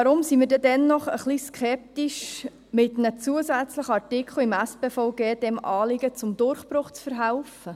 Warum sind wir trotzdem etwas skeptisch, um einem zusätzlichen Artikel im SpVG, diesem Artikel zum Durchbruch zu verhelfen?